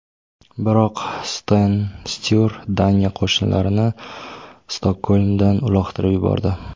Biroq Sten Sture Daniya qo‘shinlarini Stokgolmdan uloqtirib yubordi.